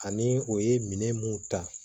Ani u ye minɛn mun ta